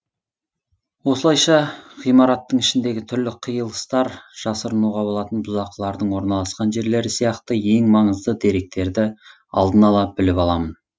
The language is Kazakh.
осылайша ғимараттың ішіндегі түрлі қиылыстар жасырынуға болатын бұзақылардың орналасқан жерлері сияқты ең маңызды деректерді алдын ала біліп аламын